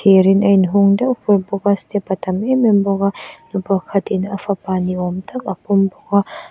thir in a inhung deuh fur bawk a step a tam em em bawk a mipa khatin a fapa ni awm tak a pawm bawk a.